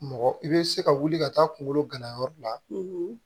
Mɔgɔ i bɛ se ka wuli ka taa kungolo ganayɔrɔ la